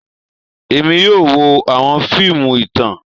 Èmi yóò wo àwọn fiimu ìtàn